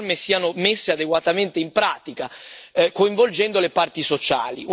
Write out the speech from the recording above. Un ottimo esempio è l'accordo Nepsi, un'eccellenza nel dialogo sociale e settoriale.